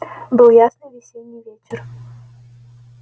был ясный весенний вечер